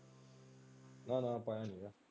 ਨਾ ਨਾ ਪਾਇਆ ਨਹੀਂ।